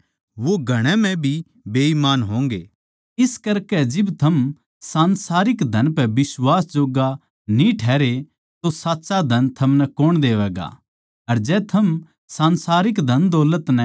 वे लोग जो थोड़ेतै भी थोड़े म्ह भी बिश्वास जोग्गे सै वे घणे म्ह भी बिश्वास जोग्गे होंगे जो थोड़ेतै भी थोड़े म्ह बेईमान सै वो घणा म्ह भी बेईमान होंगे